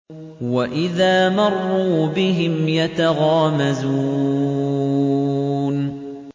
وَإِذَا مَرُّوا بِهِمْ يَتَغَامَزُونَ